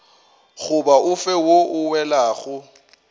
goba ofe wo o welago